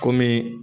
Kɔmi